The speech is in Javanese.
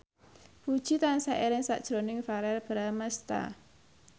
Puji tansah eling sakjroning Verrell Bramastra